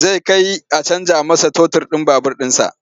Zai kai a canja masa totur ɗin babur ɗinsa.